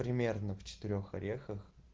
примерно в четырёх орехах